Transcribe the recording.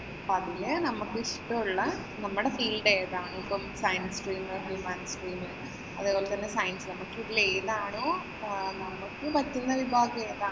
അതില് നമ്മക്കിഷ്ടമുള്ള നമ്മുടെ field ഏതാണോ, ഇപ്പം science, humanity അതേപോലെ തന്നെ science നമുക്കിതിലേതാണോ നമുക്ക് പറ്റുന്ന വിഭാഗം ഏതാണോ